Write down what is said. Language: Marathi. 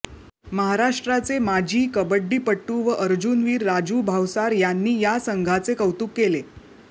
महाराष्ट्राचे माजी कबड्डीपटू व अर्जुनवीर राजू भावसार यांनी या संघाचे कौतुक केले